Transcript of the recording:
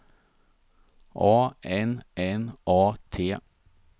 A N N A T